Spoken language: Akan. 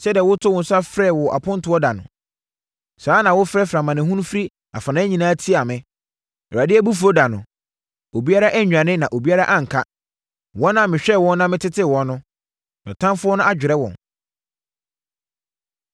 “Sɛdeɛ wotoo wo nsa frɛ wɔ apontoɔ da no, saa ara na wofrɛfrɛɛ amanehunu firi afanan nyinaa tiaa me. Awurade abufuo da no, obiara annwane na obiara anka: wɔn a mehwɛɛ wɔn na metetee wɔn no, me ɔtamfoɔ adwerɛ wɔn.”